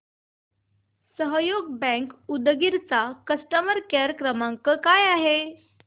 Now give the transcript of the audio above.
सहयोग बँक उदगीर चा customer care क्रमांक काय आहे